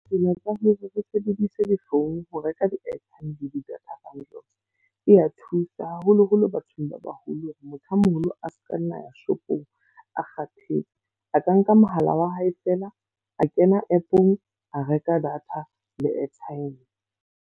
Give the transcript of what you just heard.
Tsela tsa hore re sebedise difounu ho reka di-airtime, di-data bundles e a thusa. Haholo-holo bathong ba baholo. Motho a moholo a seka nna ya shopong a kgathetse, a ka nka mohala wa hae fela a kena app-ong, a reka data le airtime.